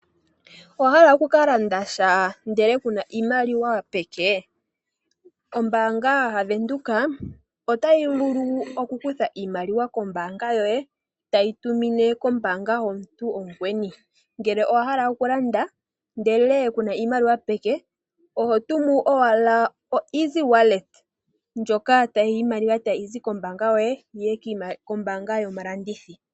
Owahala oku ka landa sha ndele kuna iimaliwa peke? Ombaanga yaVenduka otayi vulu oku kutha iimaliwa kombaanga yoye tayi tumine kombaanga yomuntu omukweni , ngele owahala oku landa ndele kuna iimaliwa peke oho tumu owala o easy wallet ndjoka iimaliwa tayi zi kokombaanga yoye yiye kombaanga yomulandithi